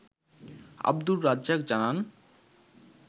আবদুর রাজ্জাক জানান